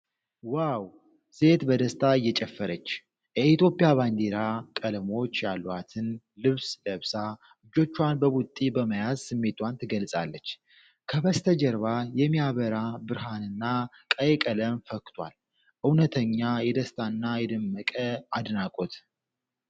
ዋው! ሴት በደስታ እየጨፈረች! የኢትዮጵያን ባንዲራ ቀለሞች ያሏትን ልብስ ለብሳ እጆቿን በቡጢ በመያዝ ስሜቷን ትገልጻለች። ከበስተጀርባ የሚያበራ ብርሃንና ቀይ ቀለም ፈክቷል። እውነተኛ የደስታና የደመቀ አድናቆት።